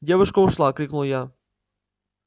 девушка ушла крикнул я